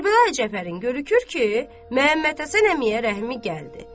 Kərbəlayi Cəfərin görürük ki, Məmməd Həsən əmiyə rəhmi gəldi.